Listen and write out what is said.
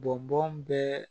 Bɔn bɔn bɛ